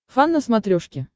фан на смотрешке